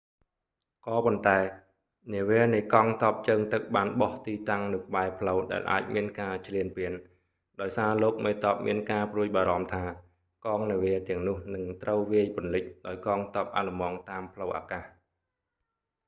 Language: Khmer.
ក៏ប៉ុន្តែ នាវានៃកង់ទ័ពជើងទឹកបានបោះទីតាំងនៅក្បែរផ្លូវដែលអាចមានការឈ្លានពាន ដោយសារលោកមេទ័ពមានការព្រួយបារម្ភថា កងនាវាទាំងនោះនឹងត្រូវវាយពន្លិចដោយកងទ័ពអាល្លឺម៉ង់តាមផ្លូវអាកាស